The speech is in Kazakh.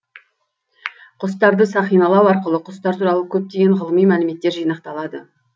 құстарды сақиналау арқылы құстар туралы көптеген ғылыми мәліметтер жинақталады